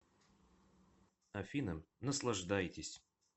афина наслаждайтесь